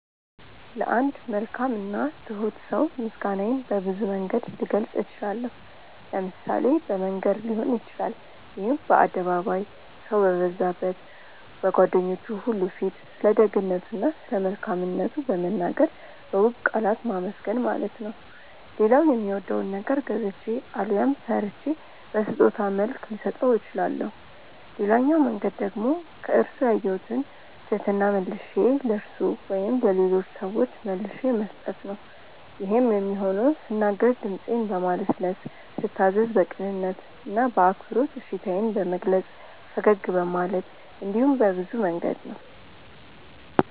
ለአንድ መልካም እና ትሁት ሰው ምስጋናዬን በብዙ መንገድ ልገልጽ እችላለሁ። ለምሳሌ በመንገር ሊሆን ይችላል ይሄም በአደባባይ፣ ሰው በበዛበት፣ በጓደኞቹ ሁሉ ፊት ስለደግነቱ እና ስለመልካምነቱ በመናገር በውብ ቃላት ማመስገን ማለት ነው። ሌላው የሚወደውን ነገር ገዝቼ አሊያም ሰርቼ በስጦታ መልክ ልሰጠው እችላለሁ። ሌላኛው መንገድ ደግሞ ከርሱ ያየሁትን ትህትና መልሼ ለርሱ ወይም ለሌሎች ሰዎች መልሼ መስጠት ነው። ይሄም የሚሆነው ስናገር ድምጼን በማለስለስ፤ ስታዘዝ በቅንነት እና በአክብሮት እሺታዬን በመግለጽ፤ ፈገግ በማለት እንዲሁም በብዙ መንገድ ነው።